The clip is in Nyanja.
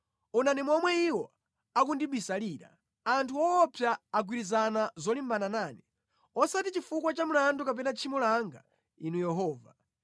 Onani momwe iwo akundibisalira! Anthu owopsa agwirizana zolimbana nane; osati chifukwa cha mlandu kapena tchimo langa, Inu Yehova.